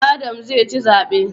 Adam zai ci zabe